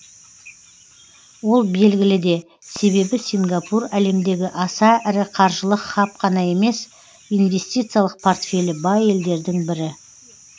ол белгілі де себебі сингапур әлемдегі аса ірі қаржылық хаб қана емес инвестициялық портфелі бай елдердің бірі